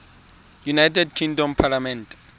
united kingdom parliament